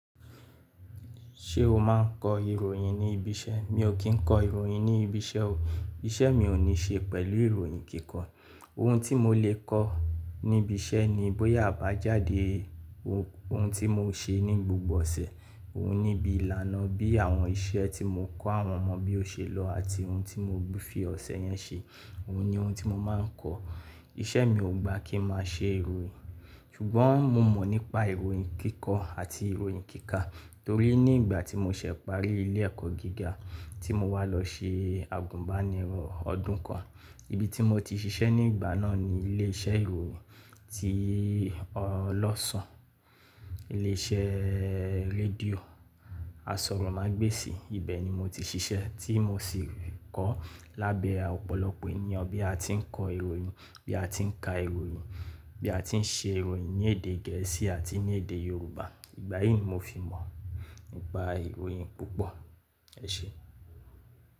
Ṣé o máa ń kọ ìròyìn ní ibi iṣẹ́? Mi ò kí ń kọ ìròyìn ní ibi iṣẹ́ o. Iṣẹ́ mi ò ní ṣe pẹ̀lú ìròyìn kíkọ́. Ohun tí mo lè kọ́ níbi iṣẹ́ ni bóyá àbájáde ohun tí mo ṣe ní gbogbo ọ̀sẹ̀. Ohun níbi ìlànà bí àwọn iṣẹ́ tí mo kọ́ àwọn ọmọ bí ó ṣe lọ àti ohun tí mo fi ọ̀sẹ̀ yẹn ṣe. Ohun ni ohun tí mo máa ń kọ́. Iṣẹ́ mi ò gba kí ń máa ṣe ìròyìn. Ṣùgbọ́n mo mọ̀ nípa ìròyìn kíkọ́ àti ìròyìn kíkà torí ní ìgbà tí mo ṣẹ̀ parí ilé ẹ̀kọ́ gíga tí mo wá lọ ṣe àgùnbánirọ̀ ọdún kan, ibi tí mo ti ṣiṣẹ́ nígbà náà ni ilé iṣẹ́ ìròyìn ti ọlọ́ṣun. Ilé iṣẹ́ rédíò Asọ̀rọ̀mágbèsì. Ibẹ̀ ni mo ti ṣiṣẹ́ tí mo sì rí kọ́ lábẹ́ ọ̀pọ̀lọpọ̀ ènìyàn bí a ti ń kọ ìròyìn, bí a ti ń ka ìròyìn, bí a ti ń ṣe ìròyìn ní èdè gẹ̀ẹ́sì àti ní èdè Yorùbá. Ìgbàyíì mo fi mọ̀ nípa ìròyìn púpọ̀. Ẹ ṣé.